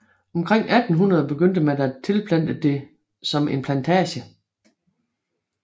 Omkring 1800 begyndte man at tilplante det som en plantage